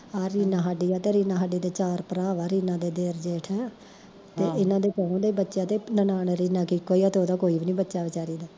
ਆ ਰੀਨਾ ਸਾਡੀ ਆ ਤੇ ਰੀਨਾ ਦੇ ਚਾਰ ਭਰਾ ਵਾ ਰੀਨਾ ਦੇ ਦਏਰ ਜੇਠ ਤੇ ਏਨਾ ਦੇ ਚਾਰੋਂ ਕੋਲ ਬੱਚਾ ਤੇ ਨਨਾਣ ਰੀਨਾ ਦੀ ਇੱਕੋ ਆ ਤੇ ਓਦਾ ਕੋਈ ਵੀ ਨੀ ਬੱਚਾ ਵਿਚਾਰੀ ਦਾ